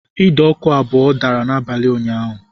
Ide ọkụ abụọ dara n'abalị ụnyaahụ